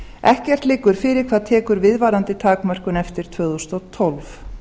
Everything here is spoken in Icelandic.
ekkert liggur fyrir hvað tekur við varðandi takmörkun eftir tvö þúsund og tólf